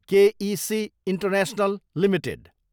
के A C international Ltd